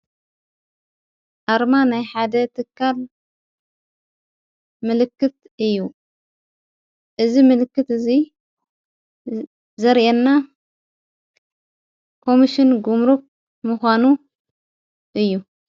ኣርማ ናይ ሓደ ትካል ምልክት እዩ። እዝ ምልክት እዙይ ዘርአና ኮምስን ግምሩ ምዃኑ እዩ።